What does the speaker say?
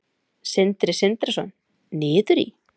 Sindri Sindrason: Niður í?